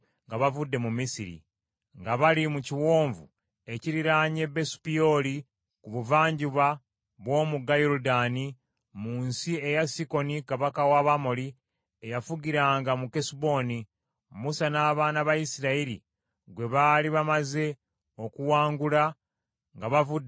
nga bali mu kiwonvu ekiriraanye Besu Peoli ku buvanjuba bw’omugga Yoludaani, mu nsi eya Sikoni kabaka w’Abamoli, eyafugiranga mu Kesuboni, Musa n’abaana ba Isirayiri gwe baali bamaze okuwangula nga bavudde mu nsi ey’e Misiri.